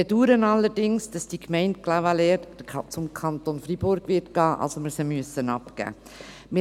Wir bedauern allerdings, dass die Gemeinde Clavaleyres zum Kanton Freiburg gehen wird, dass wir sie abgeben müssen.